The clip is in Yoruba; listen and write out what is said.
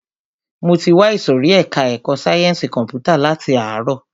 Mo ti wà ìsòrí ẹka ẹ̀kọ́ sáyẹnsì kọ̀mpútà láti ààrọ̀.